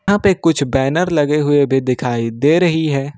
यहां पे कुछ बैनर लगे हुए भी दिखाई दे रही है।